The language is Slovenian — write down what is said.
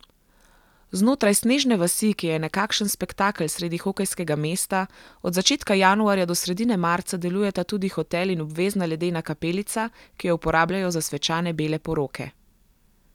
Znotraj snežne vasi, ki je nekakšen spektakel sredi hokejskega mesta, od začetka januarja do sredine marca delujeta tudi hotel in obvezna ledena kapelica, ki jo uporabljajo za svečane bele poroke.